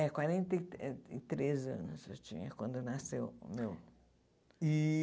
É, quarenta e eh três anos eu tinha quando nasceu o meu. E